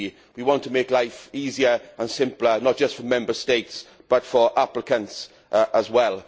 We want to make life easier and simpler, not just for Member States but for applicants as well.